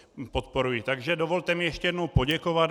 Takže dovolte mi ještě jednou poděkovat.